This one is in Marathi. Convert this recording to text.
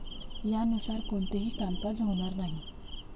यानुसार कोणतेही कामकाज होणार नाही.